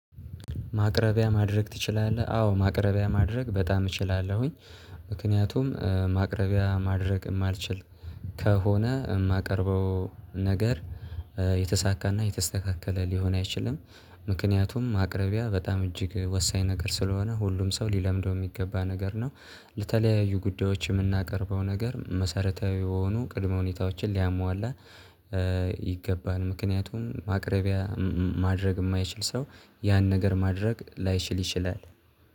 ማቅረቢያ ማድረግ ትችላለህ? አዎ ማቅረቢያ ማድረግ በጣም እችላለሁኝ። ምክንያቱም ማቅረቢያ ማድረግ የማልችል ከሆነ የማቀርበው ነገር የተሳካና የተስተካከለ ሊሆን አይችልም። ምክንያቱም ማቅርቢያ በጣም እጅግ ወሳኝ ነገር ስለሆነ ሁሉም ሰው ሊለምደው የሚገባ ነገር ነው። ለተለያዩ ጉዳዮች የምናቀርበው ነገር መሰረታዊ የሆኑ ቅድመ ሁኔታዎችን ሊያሟላ ይገባል። ምክንያቱም ማቅረቢያ ማድረግ የማይችል ሰው ያን ነገር ማድረግ ላይችል ይችላል